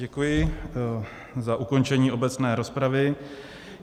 Děkuji za ukončení obecné rozpravy.